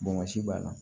b'a la